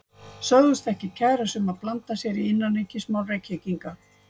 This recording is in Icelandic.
Sögðust ekki kæra sig um að blanda sér í innanríkismál Reykvíkinga.